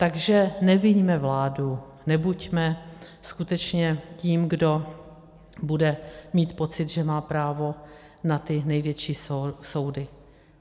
Takže neviňme vládu, nebuďme skutečně tím, kdo bude mít pocit, že má právo na ty největší soudy.